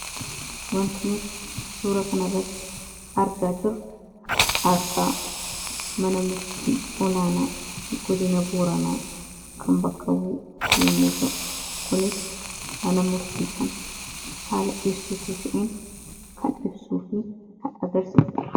wantinooti suura kanabatti argaa jiru aastaa mana murtii olaanaa gudina booranaa kan bakkabuu yomuuta kunis mana murtii kan faala ibsutuu ta'in kan ibsuu fi agarsisudha.